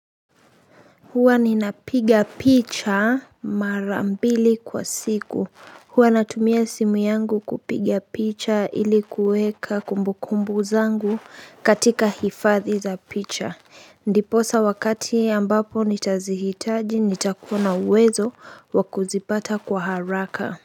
Huwa ninapiga picha mara mbili kwa siku huwa natumia simu yangu kupiga picha ili kuweka kumbukumbu zangu katika hifadhi za picha ndiposa wakati ambapo nitazihitaji nitakuwa na uwezo wa kuzipata kwa haraka.